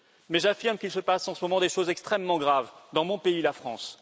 Mais j'affirme qu'il se passe en ce moment des choses extrêmement graves dans mon pays, la France.